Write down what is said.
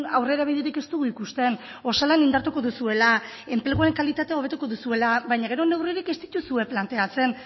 aurrera biderik ez dugu ikusten osalan indartuko duzuela enpleguen kalitatea hobetuko duzuelabaina gero neurririk ez dituzue planteatzen